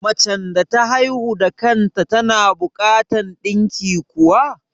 Macen da ta haihu da kan ta tana buƙatan ɗinki kuwa?